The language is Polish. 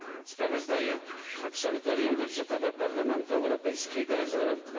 Sprawozdaję absolutorium budżetowe Parlamentu Europejskiego za rok